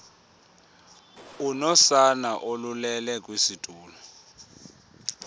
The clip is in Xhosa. unosana olulele kwisitulo